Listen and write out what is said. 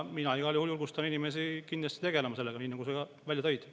Mina igal juhul kindlasti julgustan inimesi sellega tegelema, nii nagu sa välja tõid.